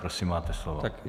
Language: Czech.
Prosím, máte slovo.